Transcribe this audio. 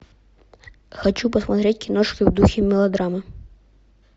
хочу посмотреть киношку в духе мелодрамы